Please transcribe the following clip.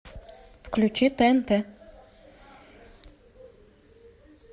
включи тнт